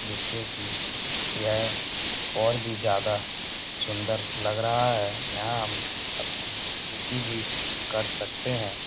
जैसे कि यह और भी ज्यादा सुंदर लग रहा है यहाँ हम अपनी खेती भी कर सकते हैं।